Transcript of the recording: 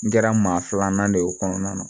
N kɛra maa filanan de ye o kɔnɔna na